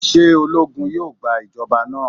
Ṣe ologun yoo gba ijọba naa?